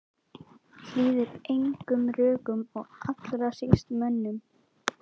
Hlýðir engum rökum og allra síst mönnum.